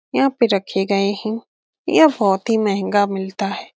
यहाँ पे रखे गए हैं यह बहोत ही मेहँगा मिलता है।